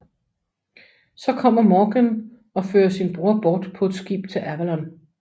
Så kommer Morgain og fører sin bror bort på et skib til Avalon